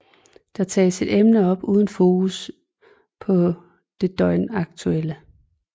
Der tages et emne op uden fokus på det døgnaktuelle